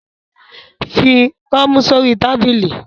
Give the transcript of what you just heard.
Fi koomu sori tabili